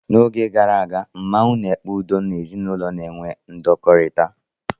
N'oge gara aga, mmanwụ na-ekpe udo n'ezinụlọ na-enwe ndọkọrita.